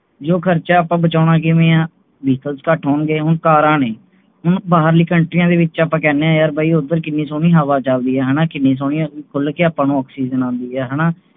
ਇਹੋ ਖਰਚਾ ਆਪਾ ਬਚਾਉਣਾ ਕਿਵੇਂ ਹਾਂ vehicle ਘੱਟ ਹੋਣਗੇ ਹੁਣ ਕਾਰਾ ਨੇ ਹੁਣ ਬਾਹਰਲੀ ਕੌਂਟਰੀਆਂ ਦੇ ਵਿੱਚ ਆਪਾਂ ਕਹਿੰਨੇ ਹਾਂ ਯਾਰ ਬਾਈ ਓਦਰ ਕਿੰਨੀ ਸੋਹਣੀ ਹਵਾ ਚਲਦੀ ਹੈ ਨਾ ਕਿੰਨੀ ਸੋਹਣੀ ਮਤਲਬ ਕੇ ਆਪਾ ਨੂੰ oxygen ਆਉਂਦੀ ਹਾਣਾ